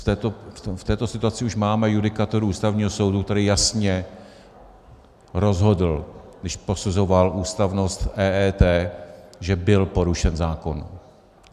V této situaci už máme judikaturu Ústavního soudu, který jasně rozhodl, když posuzoval ústavnost EET, že byl porušen zákon.